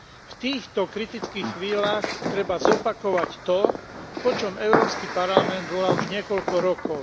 V týchto kritických chvíľach treba zopakovať to, po čom Európsky parlament volá už niekoľko rokov.